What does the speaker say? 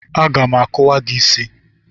Aga m akuwa isi gị.